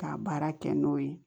K'a baara kɛ n'o ye